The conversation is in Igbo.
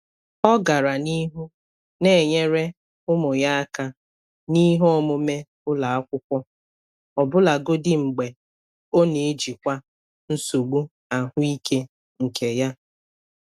Ọ gara n'ihu na-enyere ụmụ ya aka n'ihe omume ụlọ akwụkwọ, ọbụlagodi mgbe ọ na-ejikwa nsogbu ahụike nke ya.